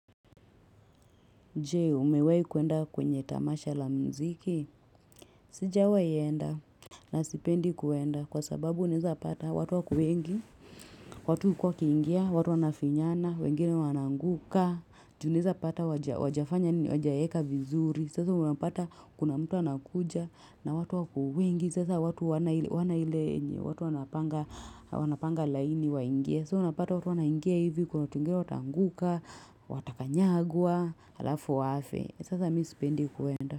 Je, umewahi kuenda kwenye tamasha la mziki? Sijawahi enda, na sipendi kuenda, kwa sababu unaeza pata watu wako wengi, watu huko wakiingia, watu wanafinyana, wengine wanaanguka, ju unaeza pata hawajafanya nini hawajaeka bizuri. Sasa unapata kuna mtu anakuja, na watu wako wengi. Sasa watu hawana ile, watu wana panga laini waingia. Sasa unapata watu wanaingia hivi, kuna watu wengine wataanguka, watakanyagwa, alafu wafe. Eeh sasa mimi sipendi kuenda.